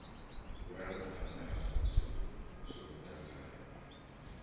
vhurangaphanda ha muvhuso zwo tanganywa